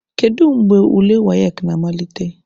Kedu mgbe ule WAEC na-amalite?